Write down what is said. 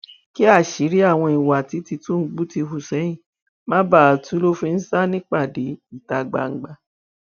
kí àṣírí àwọn ìwà tí tìtúngbù ti hù sẹyìn má bàa tú ló fi ń sá nípàdé ìta gbangba